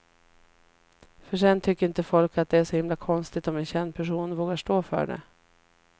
För sen tycker inte folk att det är så himla konstigt om en känd person vågar stå för det.